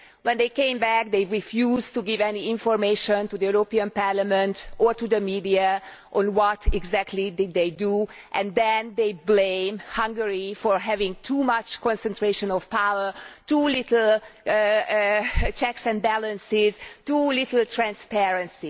When they came back they refused to give any information to Parliament or to the media on what exactly they did and then they blame Hungary for having too much concentration of power, too few checks and balances, too little transparency.